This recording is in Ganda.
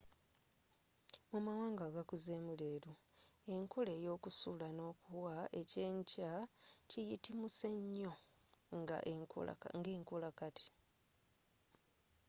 mu mawanga agakuzeemu leero enkola eyokusula n'okuwa eky'enkya kiyitimuse nnyo nga enkola kati